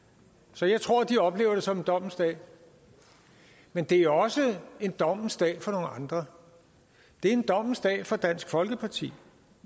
så jeg tror de oplever det som en dommens dag men det er også en dommens dag for nogle andre det er en dommens dag for dansk folkeparti